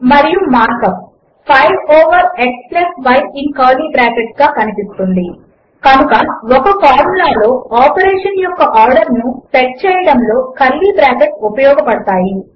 మరియు mark up 5 over xyఇన్ curly brackets గా కనిపిస్తుంది కనుక ఒక ఫార్ములా లో ఆపరేషన్ యొక్క ఆర్డర్ ను సెట్ చేయడములో కర్లీ బ్రాకెట్లు ఉపయోగపడతాయి